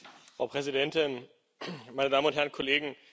Frau Präsidentin, meine Damen und Herren Kollegen!